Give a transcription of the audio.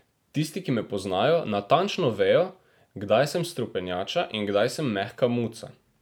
Tisti, ki me poznajo, natančno vejo, kdaj sem strupenjača in kdaj sem mehka muca.